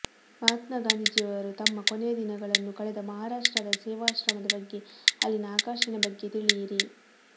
ಮಹಾತ್ಮ ಗಾಂಧೀಜಿಯವರು ತಮ್ಮ ಕೊನೆಯ ದಿನಗಳನ್ನು ಕಳೆದ ಮಹಾರಾಷ್ಟ್ರದ ಸೇವಾಶ್ರಮದ ಬಗ್ಗೆ ಅಲ್ಲಿನ ಆಕರ್ಷಣೆ ಬಗ್ಗೆ ತಿಳಿಯಿರಿ